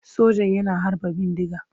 Sojan yana harba bindiga.